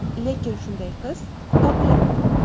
Lekin shunday qiz topiladi.